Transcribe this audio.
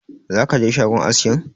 Za ka je shagon aski ne?